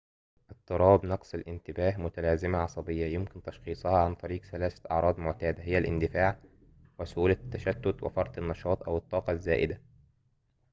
اضطراب نقص الانتباه متلازمة عصبية يمكن تشخيصها عن طريق ثلاثة أعراض معتادة هي الاندفاع وسهولة التشتت وفرط النشاط أو الطاقة الزائدة